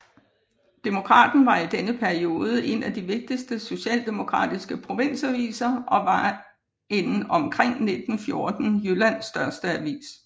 Demokraten var i denne periode en af de vigtigste socialdemokratiske provinsaviser og var en omkring 1914 Jyllands største avis